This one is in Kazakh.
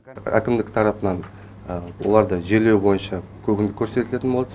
әкімдік тарапынан оларды жерлеу бойынша көмек көрсетілетін болады